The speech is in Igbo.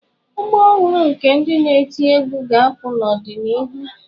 Ọgbọ ọhụrụ nke ndị na eti egwú ga-apụta n'ọdịnihu.